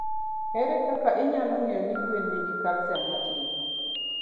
Ere kaka inyalo ng'eyo ni gwenini nigi calcium matin?